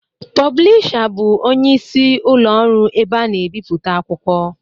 Pụblịsha bụ ọnyeisi ụlo ọru ebe ana-ebiputa akwụkwọ